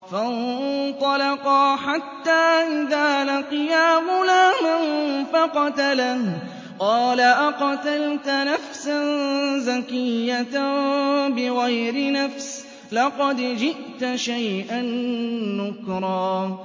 فَانطَلَقَا حَتَّىٰ إِذَا لَقِيَا غُلَامًا فَقَتَلَهُ قَالَ أَقَتَلْتَ نَفْسًا زَكِيَّةً بِغَيْرِ نَفْسٍ لَّقَدْ جِئْتَ شَيْئًا نُّكْرًا